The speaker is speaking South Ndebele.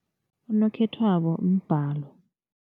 Unokhethwabo mbalo.